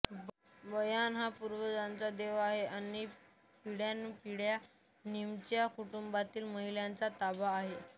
Bayern हा पूर्वजांचा देव आहे आणि पिढ्यानपिढ्या निमच्या कुटुंबातील महिलांचा ताबा आहे